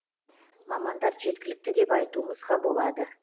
мамандар жеткілікті деп айтуымызға болады